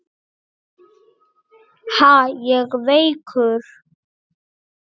Ha, ég veikur!